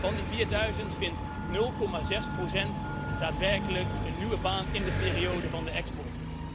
Van die vierduizend vindt 0,6 procent daadwerkelijk een nieuwe baan in de periode van de export.